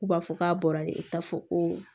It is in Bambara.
K'u b'a fɔ k'a bɔra de k'a fɔ ko